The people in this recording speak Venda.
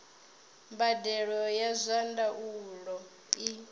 mbadelo ya zwa ndaulo i